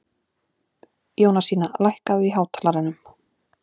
Jónasína, lækkaðu í hátalaranum.